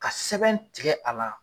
Ka sɛbɛn tigɛ a la